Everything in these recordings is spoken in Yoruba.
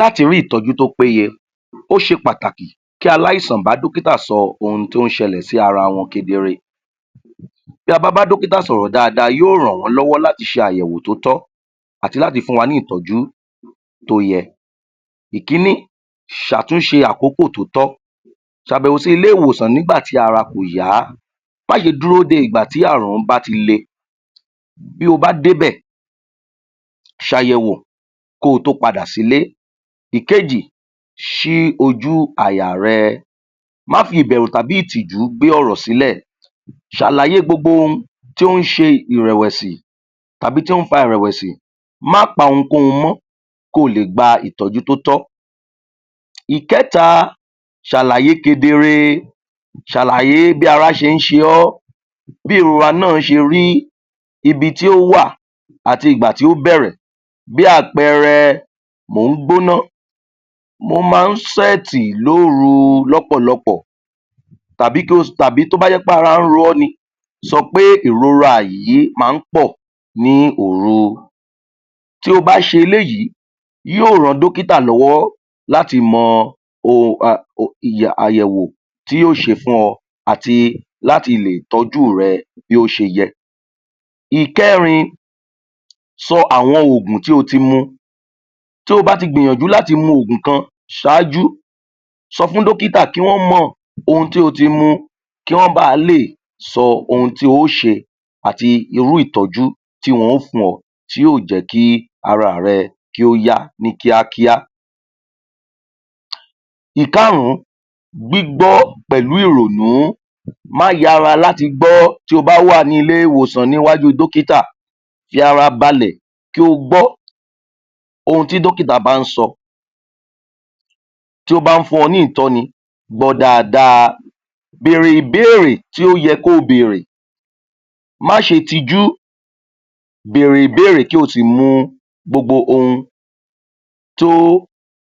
láti rí ìtọ́jú tó pé ye ó ṣe pàtakì kí alásàn bá dọ́kítà sọ ohun tó ṣẹlẹ̀ sí ara wọn kedere bí a bá bá dọ́kítà sọ̀rọ̀ dada yó ràn wọ́ lọ́wọ́ láti ṣe àyẹ̀wò tó tọ́ àti láti fún wa ní ìtọ́jú tó yẹ ìkíní sàtúnse àkókò tó tọ́ sàbẹ̀wò sí ilé - ìwòsàn nígbàtí ara kòyá má ṣe dúró de ìgbà tí àrùn ọ̀ún bá ti le bí o bá dé bẹ̀ sàyẹ̀wò kotó padà sílé ìkejì sí ojú àyà rẹ má fi ìbẹ̀rù tàbí ìtìjú gbé ọ̀rọ̀ sílẹ̀ sàlàyé gbogbo ohun tó ṣẹ ìrẹ̀wẹ̀sì tàbí tó fa ìrèwèsì mà pa ohun gbogbo mọ́ kó lè gba ìtọ́jú tó tọ́ ìkẹ́ta sàlàyé kedere sàlàyé bí ara ṣé sẹ ọ́ bí ìrora náà ṣe rí ibi tí ò wà àti ìgbà tí ó bẹ̀rẹ̀ bí àpẹẹrẹ mó gbóná mo má súètì lóru lọ́pọ̀lọpọ̀ tàbí ko, tàbí tó bá jẹ́ ara ro ọ́ ni sọpé ìrora yí ma pọ̀ ní òru tí o bá ṣe eléyí yó ran dókítà lọ́wọ́ láti mọ o a um arrgg àyèwò tí yó ṣe fún ọ àti láti lè tọ́jú rẹ bí o ṣe yẹ ìkérin sọ àwọn ògùn tí o ti mu to bá ti gbìyànjú láti mu ògùn kan saájú sọ fún dókítà kí wọ́n mọ̀ ohun tí o ti mu kí wọ́n ba lè sọ sọ ohun tí o ṣe àti irú ìtọ́jú tí wọ́n ó fún ọ yóò jẹ́ kí ara rẹ kí ó yá ní kíákíá ìkarún gbígbọ́ pẹ̀lú ìrònú má yára láti gbọ́ tií o bá wàní ilé - ìwòsàn níwájú dọ́kítà farabalẹ̀ kí o gbọ́ ohun tí dọ́kítà bá sọ tó bá fún gbọ dáadáa bèrè ìbéèrè tí yé kí o béèrè ma ṣe tijú bèrè ìbéèrè kí o si mu gbogbo ohun tó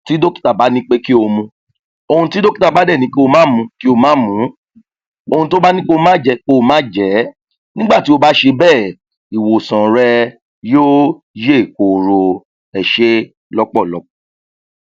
tí dókítà bá ní kí o mu ohun tí dọ́kítà bá dẹ ̀ní kí o má mu kí o má mu ohun tí ó bá ní ko má jẹ kí o má jẹ́ nígbàtí o bá ṣe béè ìwòsàn rẹ yó yè koro ẹsẹ́ lọ́pọ̀lọpọ̀